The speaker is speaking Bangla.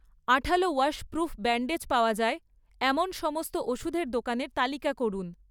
আঠালো ওয়াশপ্রুফ ব্যান্ডেজ পাওয়া যায় এমন সমস্ত ওষুধের দোকানের তালিকা করুন